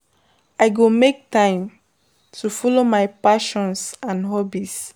I go make time to follow my passions and hobbies.